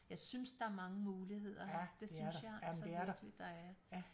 Jeg synes der er mange muligheder her det synes jeg altså virkelig der er